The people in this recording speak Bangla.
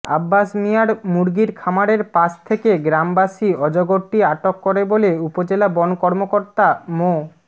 আব্বাস মিয়ার মুরগির খামারের পাশ থেকে গ্রামবাসী অজগরটি আটক করে বলে উপজেলা বন কর্মকর্তা মো